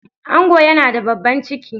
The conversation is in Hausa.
Angon yana da babban ciki.